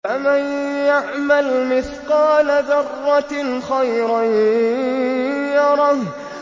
فَمَن يَعْمَلْ مِثْقَالَ ذَرَّةٍ خَيْرًا يَرَهُ